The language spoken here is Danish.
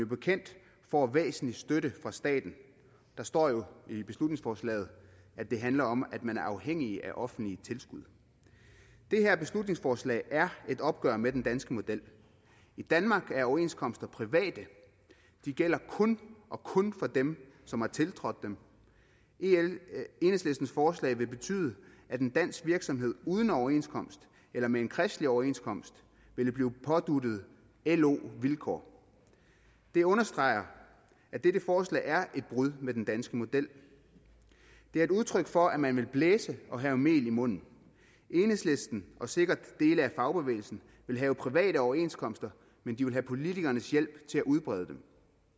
bekendt får væsentlig støtte fra staten der står jo i beslutningsforslaget at det handler om at man er afhængige af offentlige tilskud det her beslutningsforslag er et opgør med den danske model i danmark er overenskomster private de gælder kun og kun for dem som har tiltrådt dem enhedslistens forslag vil betyde at en dansk virksomhed uden overenskomst eller med en kristelig overenskomst ville blive påduttet lo vilkår det understreger at dette forslag er et brud med den danske model det er et udtryk for at man vil blæse og have mel i munden enhedslisten og sikkert dele af fagbevægelsen vil have private overenskomster men de vil have politikernes hjælp til at udbrede dem